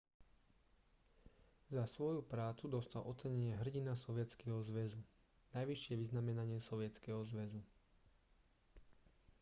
za svoju prácu dostal ocenenie hrdina sovietskeho zväzu najvyššie vyznamenanie sovietskeho zväzu